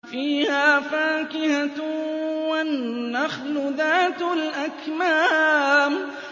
فِيهَا فَاكِهَةٌ وَالنَّخْلُ ذَاتُ الْأَكْمَامِ